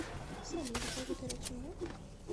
салют благодаря чему